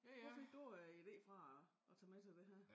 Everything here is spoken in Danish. Hvor fik du øh idé fra at at tage med til det her